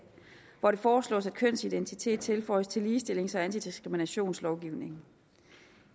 hvor det foreslås at kønsidentitet tilføjes til ligestillings og antidiskriminationslovgivningen